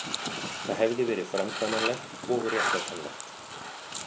Það hefði verið framkvæmanlegt og réttlætanlegt